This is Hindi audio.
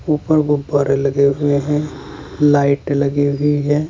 ऊपर गुब्बारे लगे हुए हैं लाइट लगी हुई है।